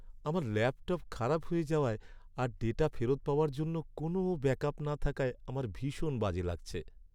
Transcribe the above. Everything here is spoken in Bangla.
আমার ল্যাপটপ খারাপ হয়ে যাওয়ায় আর ডেটা ফেরত পাওয়ার জন্য কোনও ব্যাকআপ না থাকায় আমার ভীষণ বাজে লাগছে।